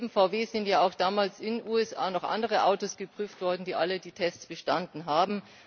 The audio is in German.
Neben VW sind ja damals in den USA auch noch andere Autos geprüft worden, die alle die Tests bestanden haben.